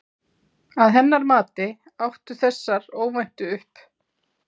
Að hennar mati áttu þessar óvæntu upp